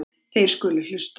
Þeir skulu hlusta.